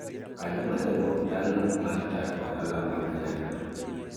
jokanyo mar riwruok chano mar chako ohala ma kanyakla